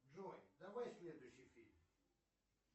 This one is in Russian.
джой давай следующий фильм